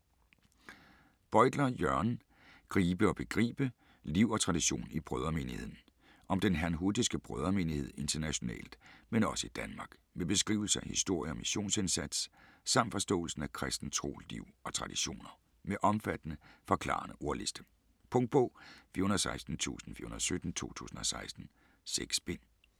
Bøytler, Jørgen: Gribe og begribe: liv og tradition i Brødremenigheden Om den herrnhutiske Brødremenighed internationalt men også i Danmark. Med beskrivelse af historie og missionsindsats, samt forståelsen af kristen tro, liv og traditioner. Med omfattende, forklarende ordliste. Punktbog 416417 2016. 6 bind.